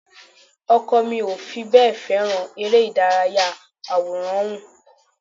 Ọkọ mi ò fi bẹ́ẹ̀ fèràn eré ìdárayá àwòránhùn